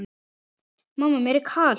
Mamma mér er kalt!